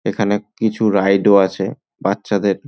এখানে কিছু রাইড -ও আছে বাচ্চাদের।